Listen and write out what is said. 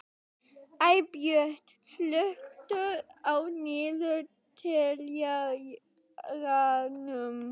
Eybjört, slökktu á niðurteljaranum.